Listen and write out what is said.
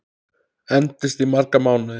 Endist í marga mánuði.